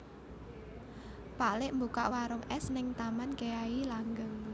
Pak lik mbukak warung es ning Taman Kyai Langgeng